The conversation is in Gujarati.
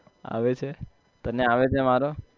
આવે છે તને આવે છે મારો?